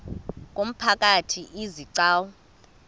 ngumphakathi izi gcawu